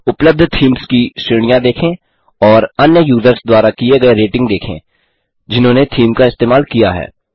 उपलब्ध थीम्स की श्रेणियां देखें और अन्य यूजर्स द्वारा दिये गये रेटिंग देखें जिन्होंने थीम का इस्तेमाल किया है